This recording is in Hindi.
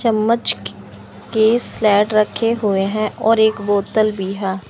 चम्मच के स्लेट रखे हुए है और एक बोतल भी हा--